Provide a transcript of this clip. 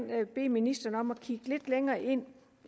bede ministeren om at kigge lidt længere ind